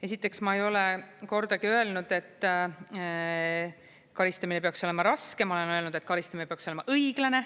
Esiteks, ma ei ole kordagi öelnud, et karistamine peaks olema raske, ma olen öelnud, et karistamine peaks olema õiglane.